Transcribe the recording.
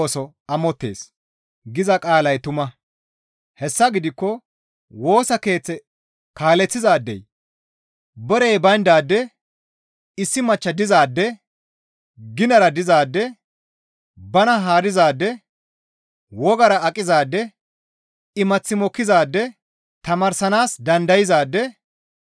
Hessa gidikko Woosa Keeththe kaaleththizaadey borey bayndaade, issi machcha diza adde, ginara dizaade, bana haarizaade, wogara aqizaade, imath mokkizaade, tamaarsanaas dandayzaade,